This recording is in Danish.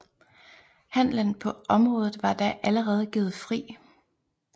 Handelen på området var da allerede givet fri